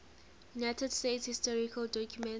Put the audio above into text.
united states historical documents